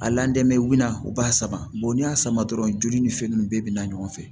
A lɛnmela u b'a sama n'i y'a sama dɔrɔn joli ni fɛn nunnu bɛɛ bina ɲɔgɔn fɛ